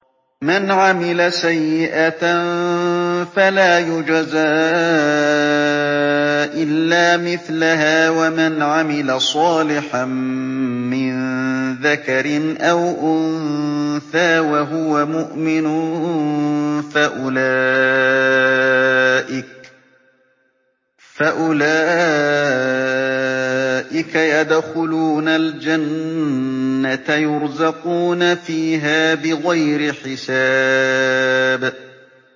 مَنْ عَمِلَ سَيِّئَةً فَلَا يُجْزَىٰ إِلَّا مِثْلَهَا ۖ وَمَنْ عَمِلَ صَالِحًا مِّن ذَكَرٍ أَوْ أُنثَىٰ وَهُوَ مُؤْمِنٌ فَأُولَٰئِكَ يَدْخُلُونَ الْجَنَّةَ يُرْزَقُونَ فِيهَا بِغَيْرِ حِسَابٍ